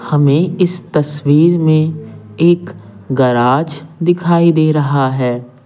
हमें इस तस्वीर में एक गराज दिखाई दे रहा है।